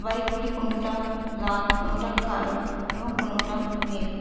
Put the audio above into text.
এইগুলি কোনোটা লাল কোনোটা কালো এবং কোনোটা নীল।